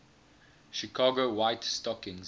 chicago white stockings